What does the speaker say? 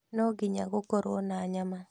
No nginya gũkorũo na nyama